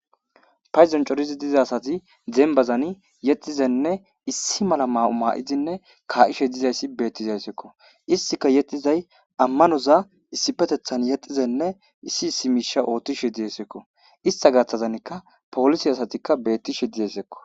Paydon coridi diza asati dembazani yexizanne issi mala maayo maaidinne kaa7ishe dizayssi beettizayseko istika yexizay ammanoza issipetethan yexizenne issi issi miisha oothtishe desekko ista gaththazanikka polisi asatikka bettishe desekko.